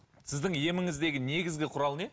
сіздің еміңіздегі негізгі құрал не